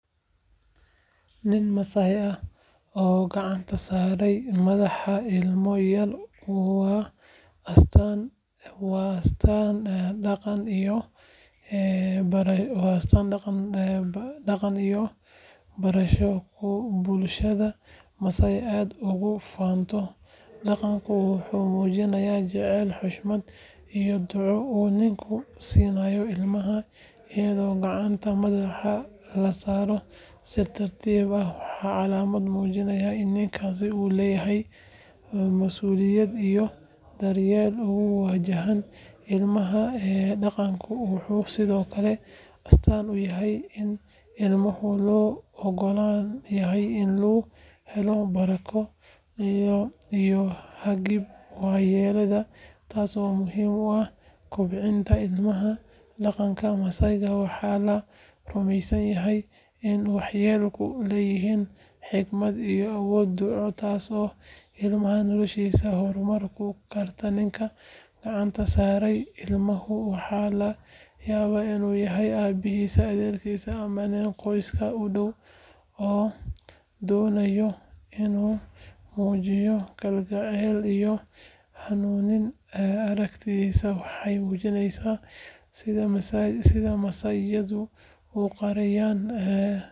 Nin Maasaai ah oo gacanta saaray madaxa ilmo yar waa astaan dhaqan iyo barako oo bulshada Maasaai aad ugu faanto dhaqankan wuxuu muujinayaa jacayl xushmad iyo duco uu ninku siinayo ilmaha iyadoo gacanta madaxa la saaro si tartiib ah waa calaamad muujinaysa in ninkaasi uu leeyahay mas’uuliyad iyo daryeel ku wajahan ilmaha dhaqankan wuxuu sidoo kale astaan u yahay in ilmaha loo oggol yahay in uu helo barako iyo hagid waayeelka taasoo muhiim u ah kobcinta ilmaha dhaqanka Maasaai waxaa la rumeysan yahay in waayeelku leeyihiin xikmad iyo awood duco taasoo ilmaha noloshiisa horumarin karta ninka gacanta saaray ilmaha waxa laga yaabaa inuu yahay aabihii adeerkii ama nin qoyska u dhow oo doonaya inuu muujiyo kalgacal iyo hanuunin aragtidaasi waxay muujinaysaa sida Maasaaiyadu u qadariyaan dhaqankooda.